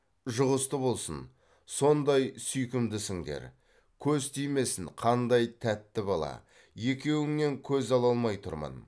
жұғысты болсын сондай сүйкімдісіңдер көз тимесін қандай тәтті бала екеуіңнен көз ала алмай тұрмын